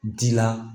Di la